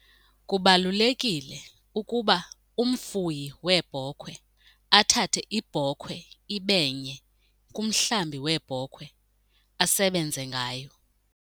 Kubalulekile ukuba umfuyi weebhokhwe athathe ibhokhwe ibe nye kumhlambi weebhokhwe asebenze ngayo.